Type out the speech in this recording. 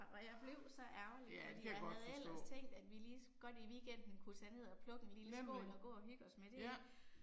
Ej, ja, det kan jeg godt forstå. Nemlig. Ja